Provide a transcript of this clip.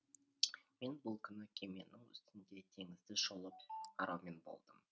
мен бұл күні кеменің үстінде теңізді шолып қараумен болдым